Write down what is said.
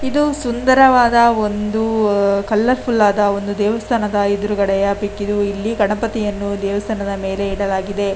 ಇದು ಸುಂದರವಾದ ಒಂದು ಕಲರ್ ಫುಲ್ ಆದ ದೇವಸ್ಥಾನ.